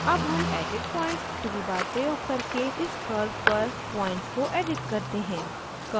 अब हम edit points toolbar प्रयोग करके इस curve पर points को edit करते हैं